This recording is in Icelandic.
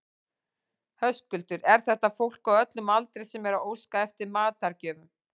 Höskuldur, er þetta fólk á öllum aldri sem er að óska eftir matargjöfum?